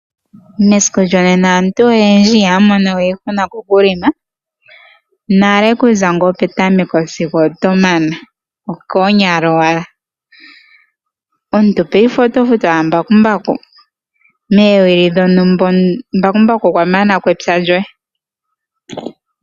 Mesiku lyonena aantu oyendji ihaya mono we iihuna kokuhelela. Nale kuza ngaa petameko sigo otomana okoonyala owala. Omuntu paife otofutu owala mbakumbaku moowili dhontumba mbakumbaku okwamana ko epya lyoye.